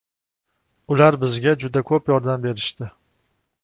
Ular bizga juda ko‘p yordam berishdi.